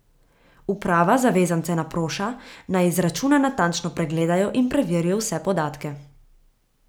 Uprava zavezance naproša, naj izračune natančno pregledajo in preverijo vse podatke.